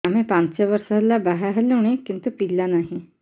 ଆମେ ପାଞ୍ଚ ବର୍ଷ ହେଲା ବାହା ହେଲୁଣି କିନ୍ତୁ ପିଲା ନାହିଁ